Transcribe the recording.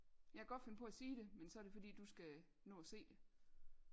Jeg kan godt finde på at sige det men så er det fordi du skal nå og se det